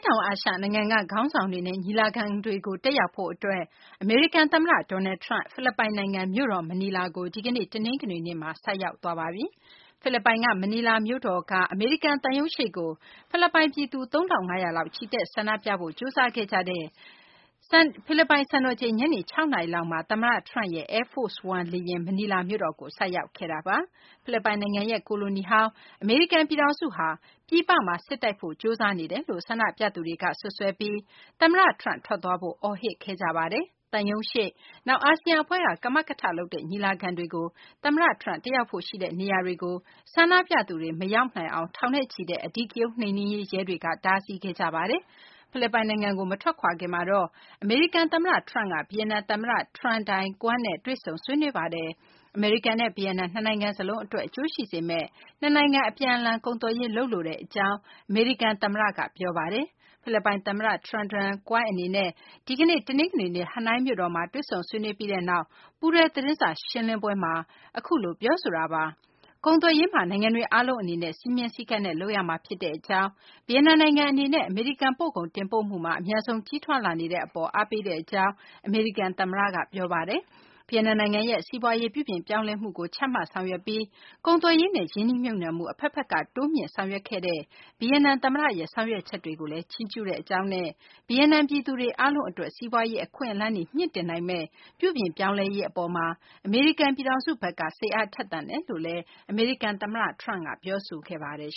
တောင် အာရှ နိုင်ငံက ခေါင်းဆောင်တွေနဲ့ ညီလာခံကို တက်ရောက်ဖို့ အတွက် အမေရိကန် သမ္မတ Donald Trump ဖိလစ်ပိုင်နိုင်ငံ မြို့တော် မနီလာကို ဒီကနေ့ တနင်္ဂနွေနေ့မှာ ရောက်ရှိပါတယ်။ ဖိလစ်ပိုင်က မနီလာမြို့တော်မှာ အမေရိကန် သံရုံးရှေ့ကို ဖိလစ်ပိုင် ပြည်သူ ၃ ထောင့် ၅ ရာလောက် ချီတက်ဆန္ဒပြဖို့ ကြိုးစားခဲ့ကြတဲ့ ဖိလစ်ပိုင် စံတော်ချိန် ညနေ ၆ နာရီမှာ သမ္မတ Trump ရဲ့ Air Force One မနီလာမြို့တော်ကို ဆိုက်ရောက်ခဲ့တာပါ။ ဖိလစ်ပိုင်နိုင်ငံကို ကိုလိုနီပြုခဲ့ဖူးတဲ့ အမေရိကန် ပြည်ထောင်စုဟာ ပြည်ပမှာ စစ်တိုက်ဖို့ ကြိုးစားနေတယ်လို့ ဆန္ဒပြသူတွေက စွပ်စွဲပြီး သမ္မတ Trump ထွက်သွားဖို့ အော်ဟစ်ခဲ့ကြပါတယ်။ သံရုံးရှေ့၊ နောက် အာဆီယံ အဖွဲ့က ကမကထလုပ်တဲ့ ညီလာခံတွေကို သမ္မတ Trump တက်ရောက်ဖို့ ရှိနေတဲ့ နေရာတွေကို ဆန္ဒပြသူတွေ မရောက်အောင် ထောင်နဲ့ချီတဲ့ အဓိကရုဏ်း နှိမ်နင်းရေး ရဲတွေက တားဆီးခဲ့ကြပါတယ်။ ဖိလစ်ပိုင်နိုင်ငံကို မထွက်ခွာခင်မှာတော့ အမေရိကန် သမ္မတ Trump က ဗီယက်နမ် သမ္မတ Tran Dai Quang နဲ့ တွေ့ဆုံ ဆွေးနွေးခဲ့ပါတယ်။ အမေရိကန်နဲ့ ဗီယက်နမ် နှစ်နိုင်ငံ စလုံးအတွက် အကျိုးရှိစေမယ့် နှစ်နိုင်ငံ အပြန်အလှန် ကုန်သွယ်ရေး လုပ်လိုကြောင်း အမေရိကန် သမ္မတ Donald Trump က ပြောဆိုလိုက်ပါတယ်။ ဗီယက်နမ် သမ္မတ Tran Dai Quang နဲ့ ဒီကနေ့ တနင်္ဂနွေနေ့ ဟနွိုင်းမြို့တော်မှာ တွေ့ဆုံဆွေးနွေးပြီးနောက် ပူးတွဲသတင်းစာ ရှင်းလင်းပွဲမှာ အခုလို ပြောဆိုတာပါ။ ကုန်သွယ်ရေးမှာ နိုင်ငံတွေ အားလုံး အနေနဲ့ စည်းမျဉ်းစည်းကမ်းနဲ့ လုပ်ရမှာ ဖြစ်ကြောင်း၊ ဗီယက်နမ်နိုင်ငံ အနေနဲ့ အမေရိကန် ပို့ကုန် တင်ပို့မှုမှာ အမြန်ဆုံး ကြီးထွားလာနေတဲ့ အပေါ်မှာလည်း အားပေးပါကြောင်း အမေရိကန် သမ္မတ Trump က ပြောဆိုပါတယ်။ ဗီယက်နမ် နိုင်ငံရဲ့ စီးပွားရေး ပြုပြင်ပြောင်းလဲမှုကို ချမှတ်ဆောင်ရွက်ခဲ့ပြီး ကုန်သွယ်ရေးနဲ့ ရင်းနှီးမြှုပ်နှံမှု အဘက်ဘက်က တိုးမြှင့်ဆောင်ရွက်ခဲ့တဲ့ ဗီယက်နမ် သမ္မတရဲ့ ဆောင်ရွက်ချက်တွေကိုလည်း ချီးကျူးကြောင်းနဲ့ ဗီယက်နမ် ပြည်သူ အားလုံးအတွက် စီးပွားရေး အခွင့်အလမ်းတွေ မြှင့်တင်နိုငမယ့် ပြုပြင်ပြောင်းလဲရေး အပေါ်မှာ အမေရိကန် ပြည်ထောင်စုဘက်က စိတ်အားထက်သန်ကြောင်း အမေရိကန် သမ္မတက ပြောဆိုခဲ့ပါတယ်